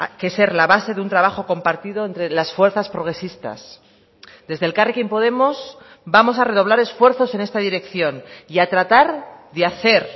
que ser la base de un trabajo compartido entre las fuerzas progresistas desde elkarrekin podemos vamos a redoblar esfuerzos en esta dirección y a tratar de hacer